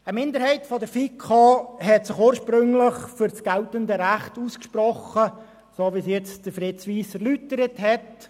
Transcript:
Eine Minderheit der FiKo hat sich ursprünglich für das geltende Recht ausgesprochen, so wie dies Fritz Wyss eben erläutert hat.